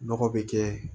Nɔgɔ be kɛ